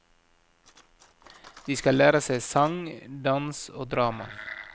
De skal lære seg sang, dans og drama.